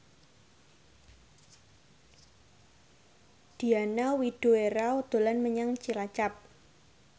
Diana Widoera dolan menyang Cilacap